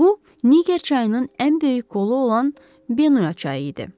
Bu Niger çayının ən böyük qolu olan Benoy çayı idi.